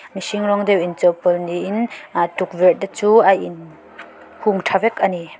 mihring rawng deuh inchawhpawlh niin ahh tukverh te chu a in hung tha vek ani.